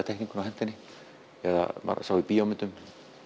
teikninguna og henti henni eða maður sá í bíómyndum